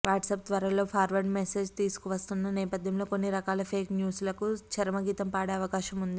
WhatsApp త్వరలో forward message తీసుకువస్తున్న నేపథ్యంలో కొన్ని రకాల ఫేక్ న్యూస్ లకు చరమగీతం పాడే అవకాశం ఉంది